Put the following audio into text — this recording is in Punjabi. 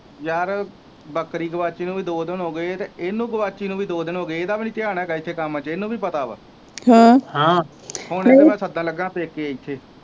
ਯਾਰ ਬੱਕਰੀ ਗਵਾਚੀ ਨੂੰ ਵੀ ਦੋ ਦਿਨ ਹੋਗੇ ਜੇ ਤੇ ਇਹਨੂੰ ਗਵਾਚੀ ਨੂੰ ਵੀ ਦੋ ਦਿਨ ਹੋਗੇ ਇਹਦਾ ਵੀ ਨਹੀਂ ਧਿਆਨ ਹੇਗਾ ਇੱਥੇ ਕੰਮ ਚ ਇਹਨੂੰ ਵੀ ਪਤਾ ਆ ਹੁਣ ਇਹਨੂੰ ਮੈ ਸੱਦਣ ਲੱਗਾ ਪੇਕੇ ਇੱਥੇ।